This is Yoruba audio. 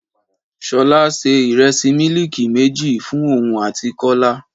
Ṣolá se Ìrẹsì mílíìkì méjì fún òun àti Kọ́lá.